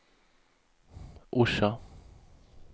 Orsa